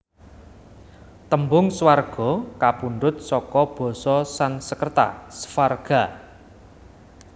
Tembung Swarga kapundhut seka basa Sansekerta Svarga